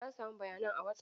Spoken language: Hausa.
Na samu bayanan a Wasaf.